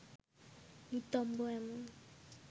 নিতম্ব এমন